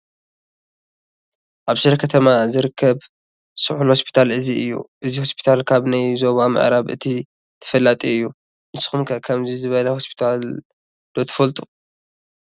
ኣብ ሽረ ከተማ ዝርከብ ስሑል ሆስፒታል እዚ እዩ፡፡ እዚ ሆስፒታል ካብ ናይ ዞባ ምዕራብ እቲ ተፈላጢ እዩ፡፡ ንስኹም ከ ከምዚ ዝበለ ሆስፒታል ዶ ትፈልጡ?